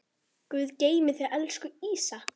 Guð geymi þig, elsku Ísak.